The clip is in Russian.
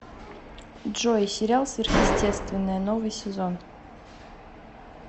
джой сериал сверхестетвенное новый сезон